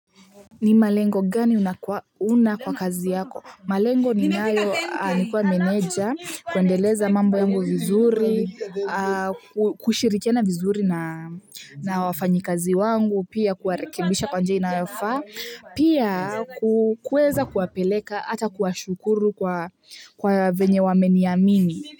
Ni malengo gani una kwa kazi yako? Malengo ninayo nikuwa meneja kuendeleza mambo yangu vizuri, kushirikiana vizuri na wafanyi kazi wangu, pia kuwarekibisha kwa njia inayofaa, pia kuweza kuwapeleka, ata kuwashukuru kwa venye wameniamini.